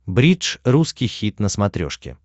бридж русский хит на смотрешке